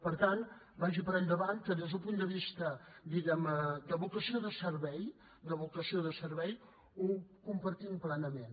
per tant vagi per endavant que des d’un punt de vista diguem ne de vocació de servei de vocació de servei ho compartim plenament